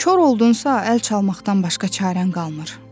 Kor oldunsa, əl çalmaqdan başqa çarən qalmır.